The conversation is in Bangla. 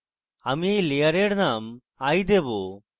আমি eye layer name eye দেবো